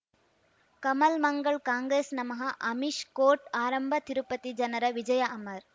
ಕಮಲ್ ಮಂಗಳ್ ಕಾಂಗ್ರೆಸ್ ನಮಃ ಅಮಿಷ್ ಕೋರ್ಟ್ ಆರಂಭ ತಿರುಪತಿ ಜನರ ವಿಜಯ ಅಮರ್